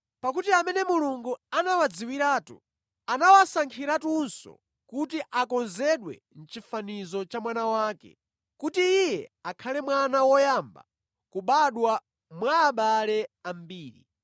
Pakuti amene Mulungu anawadziwiratu, anawasankhiratunso kuti akonzedwe mʼchifanizo cha Mwana wake, kuti Iye akhale Mwana woyamba kubadwa mwa abale ambiri.